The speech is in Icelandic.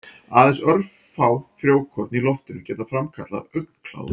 Aðeins örfá frjókorn í loftinu geta framkallað augnkláða.